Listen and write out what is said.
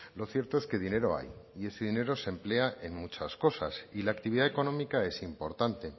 lo cierto es que dinero hay y ese dinero se emplea en muchas cosas y la actividad económica es importante